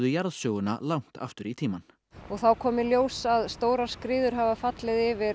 jarðsöguna langt aftur í tímann og þá kom í ljós að stórar skriður hafa fallið yfir